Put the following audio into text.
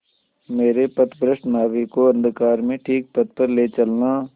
मेरे पथभ्रष्ट नाविक को अंधकार में ठीक पथ पर ले चलना